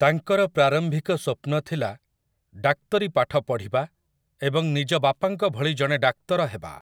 ତାଙ୍କର ପ୍ରାରମ୍ଭିକ ସ୍ୱପ୍ନ ଥିଲା ଡାକ୍ତରୀ ପାଠ ପଢ଼ିବା ଏବଂ ନିଜ ବାପାଙ୍କ ଭଳି ଜଣେ ଡାକ୍ତର ହେବା ।